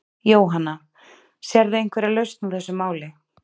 Jóhanna: Sérðu einhverja lausn á þessu máli?